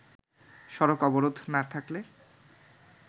সড়ক অবরোধ না থাকলে